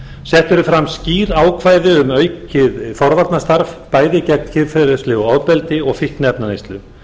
sett eru fram skýr ákvæði um aukið forvarnastarf bæði gegn kynferðislegu ofbeldi og fíkniefnaneyslu